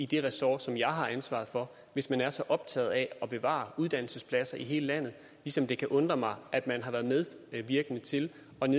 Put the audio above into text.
det ressort som jeg har ansvaret for hvis man er så optaget af at bevare uddannelsespladser i hele landet ligesom det kan undre mig at man har været medvirkende til